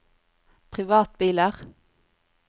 privatbiler